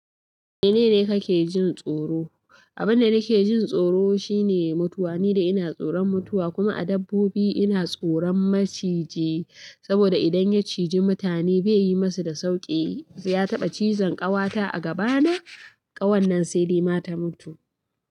Menene kake jin tsoro? Abin da nake jin tsoro shine mutuwa, ni da ina tsoron mutuwa kuma a dabbobi ina tsoron maciji, saboda idan ya ciji mutane baiyi musu da sauƙi. Ya taɓa cizon ƙawata a gabana, ƙawannan sai da ma ta mutu.